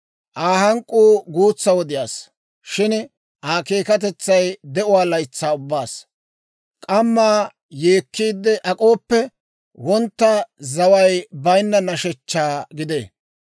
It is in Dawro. Aa hank'k'uu guutsa wodiyaassa, shin Aa keekkatetsay de'uwaa laytsaa ubbaassa. K'amma yeekiidde ak'ooppe, wontta zaway baynna nashshechchaa gidee.